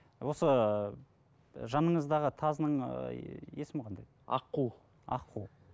осы ы жаныңыздағы тазының ыыы есімі қандай аққу аққу